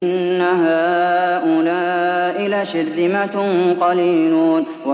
إِنَّ هَٰؤُلَاءِ لَشِرْذِمَةٌ قَلِيلُونَ